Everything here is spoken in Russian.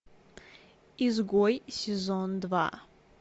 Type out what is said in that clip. изгой сезон два